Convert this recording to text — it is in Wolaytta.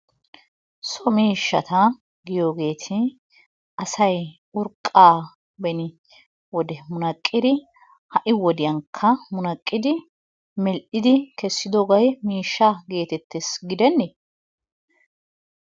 So miishshata giyoogeeti asay urqqa beni wode munaqqidi, ha'i wodiyankka munaqqidi mel"idi kessidoobay miishsha getetees gidene?